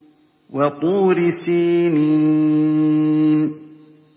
وَطُورِ سِينِينَ